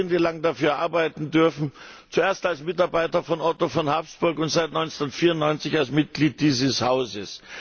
Ich habe jahrzehntelang dafür arbeiten dürfen, zuerst als Mitarbeiter von Otto von Habsburg und seit 1994 als Mitglied dieses Hauses.